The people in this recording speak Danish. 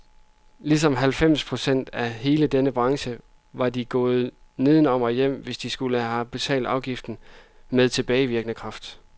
Ligesom halvfems procent af hele denne branche var de gået nedenom og hjem, hvis de skulle have betalt afgiften med tilbagevirkende kraft.